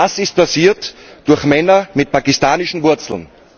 Das ist passiert durch Männer mit pakistanischen Wurzeln.